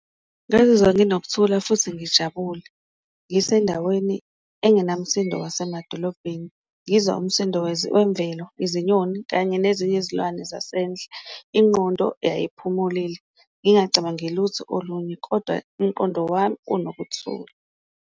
Ngazizwa nginokuthula futhi ngijabule ngisendaweni enginamsindo wasemadolobheni ngizwa umsindo wezemvelo, izinyoni kanye nezinye izilwane zasendle. Ingqondo yayiphumulile ngingacabangi lutho olunye, koda umqondo wami unokuthula.